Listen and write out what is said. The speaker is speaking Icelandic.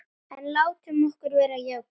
En látum okkur vera jákvæð.